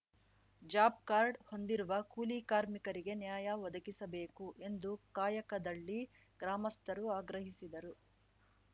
job card ಹೊಂದಿರುವ ಕೂಲಿ ಕಾರ್ಮಿಕರಿಗೆ ನ್ಯಾಯ ಒದಗಿಸಬೇಕು ಎಂದು ಕಾಯಕದಳ್ಳಿ ಗ್ರಾಮಸ್ಥರು ಆಗ್ರಹಿಸಿದರು